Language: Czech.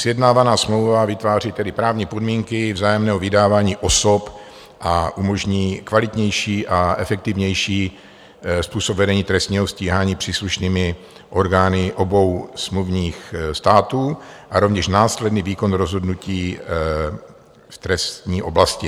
Sjednávaná smlouva vytváří tedy právní podmínky vzájemného vydávání osob a umožní kvalitnější a efektivnější způsob vedení trestního stíhání příslušnými orgány obou smluvních států a rovněž následný výkon rozhodnutí v trestní oblasti.